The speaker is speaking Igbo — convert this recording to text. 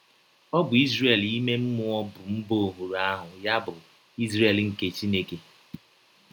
Ọ bụ Izrel ime mmụọ bụ mba ọhụrụ ahụ, ya bụ, “ Izrel nke Chineke. ”